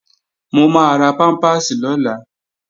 Mo máa ra pámpàsì lọ́la